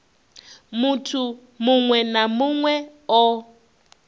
muthu muṅwe na muṅwe o